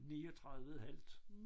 39 et halvt